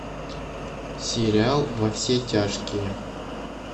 сериал во все тяжкие